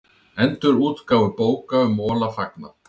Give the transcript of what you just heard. Endurútgáfu bóka um Mola fagnað